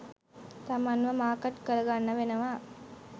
තමන්ව මාකට් කරගන්න වෙනවා.